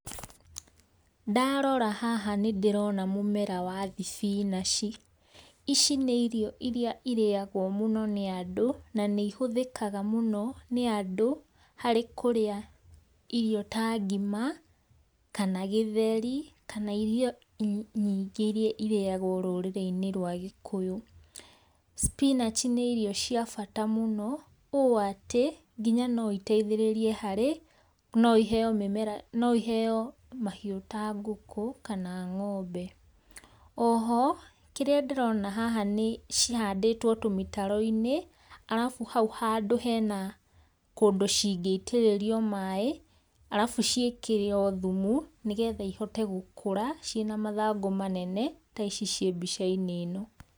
Ndarora haha nĩ ndĩrona mũmera wa thĩbĩnachĩ. Ici nĩ irio iria irĩagwo mũno nĩ andũ, na nĩ ĩhũthĩkaga mũno nĩ andũ, harĩ kũrĩa irio ta ngima, kana gĩtheri, kana irio nyingĩ iria irĩagwo rũrĩrĩ-inĩ rwa gĩkũyũ. [Spinach] nĩ irio cia bata mũno, ũũ atĩ ngĩnya no iteithererie harĩ, no iheo mĩmera, no iheo mahiũ ta ngũkũ kana ngombe. Oho kĩrĩa ndĩrona haha nĩ, cihandĩtwo tũmĩtaro-inĩ, arabũ haũ handũ hena kũndũ cingĩitĩrĩrio maĩ, arabũ ciĩkĩrwo thũmũ nĩgetha ihote gũkũra ciĩna mathangũ manene ta ici ciĩ mbica-inĩ ino.